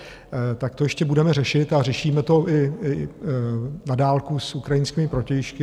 Tak to ještě budeme řešit a řešíme to i na dálku s ukrajinskými protějšky.